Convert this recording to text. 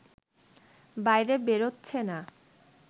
বাইরে বেরোচ্ছে না